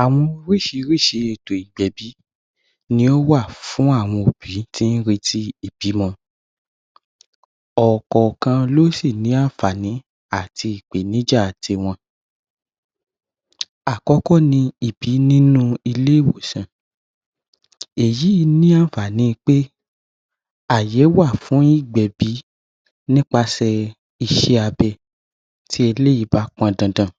Àwọn oríṣiríṣi ètò ìgbẹ̀bi ní ó wà fún àwọn òbí tí ó rétí ìbímọ. Ọ̀kankan ní ó sì ní àǹfààní àti ìpèníjà tí wọn. Àkọ́kọ́ ni ìbí nínú ilé-ìwòsàn. Èyí ní àǹfààní ni pé àyè wà fún ìgbẹ̀bi nípasẹ̀ iṣẹ́ abẹ tí eléyìí bá pọn dandan.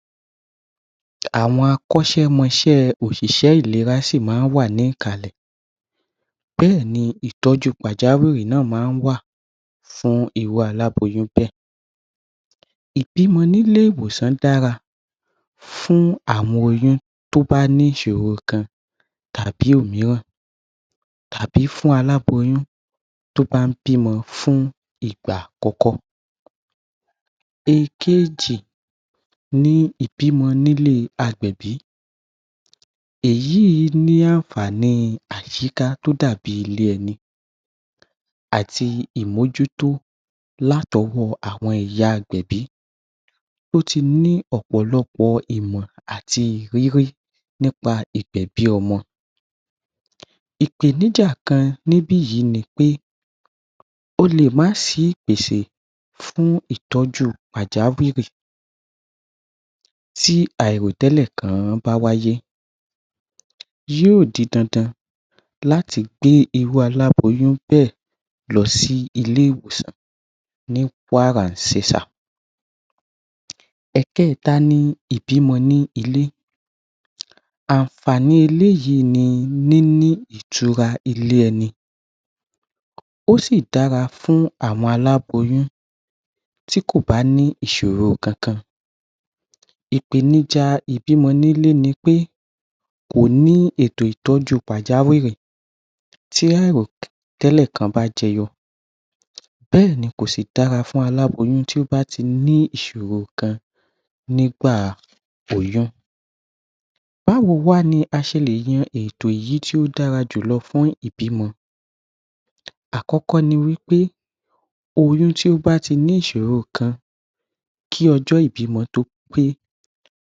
Àwọn akọ́ṣẹ́mọṣẹ́ òṣìṣẹ́ ìlera sì máa wà ní kàlẹ̀. Bẹ́ẹ̀ni ìtọ́jú pàjáwìrì náà máa ń wà fún irú aláboyún bẹ́ẹ̀. Ìbímọ ní ile- ìwòsàn dára fún àwọn oyún tó bá ní ìṣòro kan tàbí ìmíràn tàbí fún aláboyún tó bá ń bímọ fún ìgbà àkọ́kọ́. Ẹkejì, ni ìbímọ ní ilé àgbẹ̀bí. Èyí ni àǹfààní àyíká tí ó dàbí ilé ẹni àti ìmójútó lá tọwọ́ àwọn ìyá àgbẹ̀bí. O ti ní ọ̀pọ̀lọpọ̀ ìmọ̀ àti ìrírí nípa ìgbẹ̀bí ọmọ. Ìpèníjà kan ní ibi yìí ni pé, ó lè máa sí ìpèsè fún ìtọ́jú pàjáwìrì tí àìrò tẹ́lẹ̀ kan bá wáyé. Yóò di dandan láti gbé irú aláboyún bẹ́ẹ̀ lọ sí ilé-ìwòsàn ní wàrà ṣẹsà. Ẹ̀kẹta ni, ìbímọ ní ilé. Àǹfààní eléyìí ní, níní ìtura ilé ẹni ó sì dára fún àwọn aláboyún tí kò bá ní ìṣòro kankan. Ìpèníjà ìbímọ nílé ni pé kò ní ètò ìtọ́jú pàjáwìrì tí èrò tẹ́lẹ̀ kan bá jẹyọ Bẹ́ẹ̀ ni kò sì dára fún aláboyún tí o bá ti ní ìṣòro kan nígbà kan rí. Báwo wá ni a ṣe lè yan ètò èyí tí ó dára jù lọ fún ìbímọ. Àkọ́kọ́ ni wí pé oyún tí o bá tí ní ìṣòro kan kí ọjọ́ ìbímọ tó pé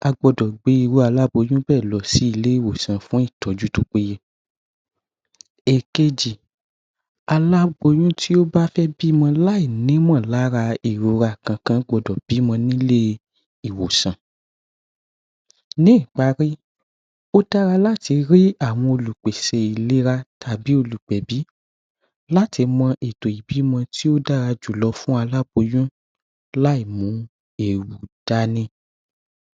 a gbọ́dọ̀ gbé irú aláboyún bẹ́ẹ̀ lọ sí ilé-ìwòsàn fún ìtọ́jú tí ó péye. Ìkẹji, aláboyún tí ó bá fẹ́ bímọ láì ní mọ̀ lára ìrora kankan gbọ́dọ̀ bímọ ní ilé ìwòsàn. Ní ìparí, ó dára láti rí àwọn olùpèsè ìlera tàbí olùgbẹ̀bí láti mọ ètò ìbímọ tí o dára jù lọ fún aláboyún láì mú ewu dání.